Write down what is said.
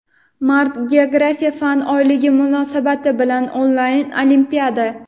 Mart - Geografiya fan oyligi munosabati bilan onlayn olimpiada!.